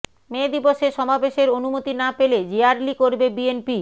মে দিবসে সমাবেশের অনুমতি না পেলে র্যালি করবে বিএনপি